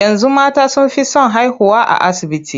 Yanzu mata sun fi son haihuwa a asibiti.